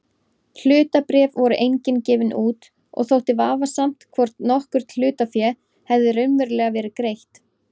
Hlutabréf voru engin gefin út og þótti vafasamt hvort nokkurt hlutafé hefði raunverulega verið greitt.